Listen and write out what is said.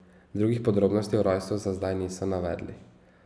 Drugih podrobnosti o rojstvu za zdaj niso navedli.